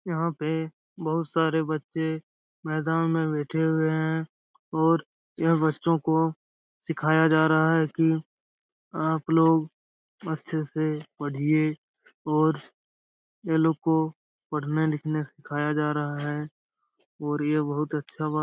यहाँ पे बहुत सारे बच्चे मैदान में बैठे हुए हैं और यह बच्चों को सिखाया जा रहा है कि आप लोग अच्छे से पढ़िए और ये लोग को पढ़ने-लिखने सिखाया जा रहा है और ये बहुत अच्छा बात --